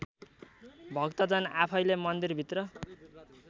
भक्तजन आफैँले मन्दिरभित्र